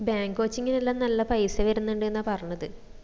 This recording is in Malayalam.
bank coaching ന്എല്ലും നല്ല പൈസ വരുന്നുണ്ടെന്നാ പറഞ്ഞത്